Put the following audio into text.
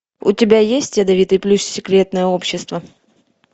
у тебя есть ядовитый плющ секретное общество